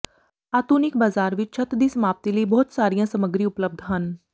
ਆਧੁਨਿਕ ਬਾਜ਼ਾਰ ਵਿਚ ਛੱਤ ਦੀ ਸਮਾਪਤੀ ਲਈ ਬਹੁਤ ਸਾਰੀਆਂ ਸਾਮੱਗਰੀ ਉਪਲਬਧ ਹਨ